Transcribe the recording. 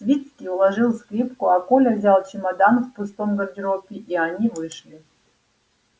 свицкий уложил скрипку а коля взял чемодан в пустом гардеробе и они вышли